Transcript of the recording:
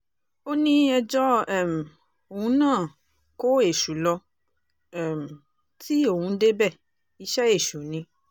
ó ní ẹjọ́ um òun náà kó èṣù lọ um tí òun débẹ̀ iṣẹ́ èṣù ni